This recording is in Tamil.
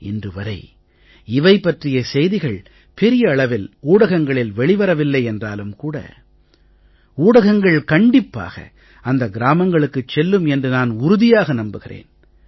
இன்று வரை இவை பற்றிய செய்திகள் பெரிய அளவில் ஊடகங்களில் வெளி வரவில்லை என்றாலும் கூட ஊடகங்கள் கண்டிப்பாக அந்த கிராமங்களுக்குச் செல்லும் என்று நான் உறுதியாக நம்புகிறேன்